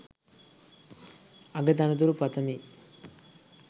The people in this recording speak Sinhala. අග තනතුරු පතමි.